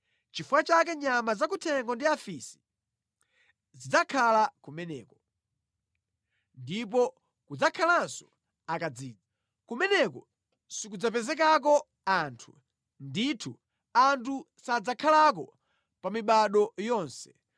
“Nʼchifukwa chake nyama zakuthengo ndi afisi zidzakhala kumeneko ndipo kudzakhalanso akadzidzi. Kumeneko sikudzapezekako anthu, ndithu anthu sadzakhalako pa mibado yonse.